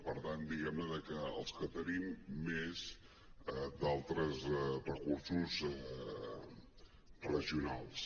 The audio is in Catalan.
per tant diguem ne que els que tenim més d’altres recursos regionals